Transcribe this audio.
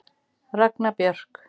Ragna Björk.